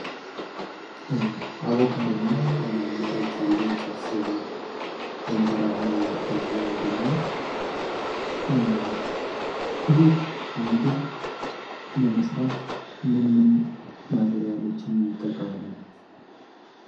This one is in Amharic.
አቦካዶ እና መረቅ ያለው ጥብስ በእንጀራ ሆነው የሚታይ ምግብ ነው። ይህን ምግብ ለመስራት ምን ምን ማቴርያሎችን እንጠቀማለን?